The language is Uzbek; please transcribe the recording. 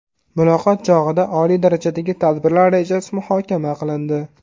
Muloqot chog‘ida oliy darajadagi tadbirlar rejasi muhokama qilindi.